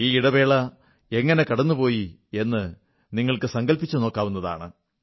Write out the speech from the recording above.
ഈ ഇടവേള എങ്ങനെ കടന്നുപോയി എന്നു നിങ്ങൾക്കു സങ്കല്പിച്ചു നോക്കാവുന്നതാണ്